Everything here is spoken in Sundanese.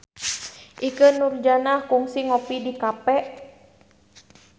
Ikke Nurjanah kungsi ngopi di cafe